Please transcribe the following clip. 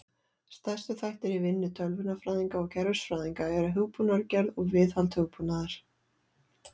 Stærstu þættir í vinnu tölvunarfræðinga og kerfisfræðinga eru hugbúnaðargerð og viðhald hugbúnaðar.